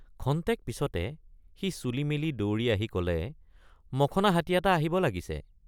ক্ষন্তেক পিচতে সি চুলি মেলি দৌৰি আহি কলেমখনা হাতী এটা আহিব লাগিছে।